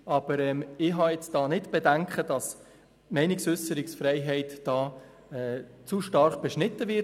Aber ich habe hier keine Bedenken, dass die Meinungsäusserungsfreiheit zu stark beschnitten wird.